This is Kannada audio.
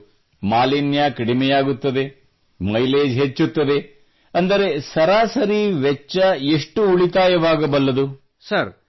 ಒಳ್ಳೆಯದು ಮಾಲಿನ್ಯ ಕಡಿಮೆಯಾಗುತ್ತದೆ ಮೈಲೇಜ್ ಹೆಚ್ಚುತ್ತದೆ ಅಂದರೆ ಸರಾಸರಿ ವೆಚ್ಚ ಎಷ್ಟು ಉಳಿತಾಯವಾಗಬಲ್ಲದು